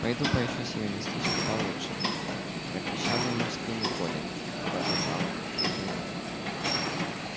пойду поищу себе местечко получше пропищал ему в спину колин и побежал к трибунам